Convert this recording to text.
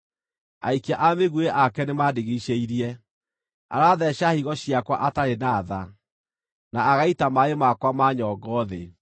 aikia a mĩguĩ ake nĩmandigiicĩirie. Aratheeca higo ciakwa atarĩ na tha, na agaita maaĩ makwa ma nyongo thĩ.